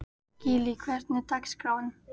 Gillý, hvernig er dagskráin?